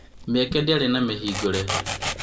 Mĩeke ndĩarĩ na mĩhingũre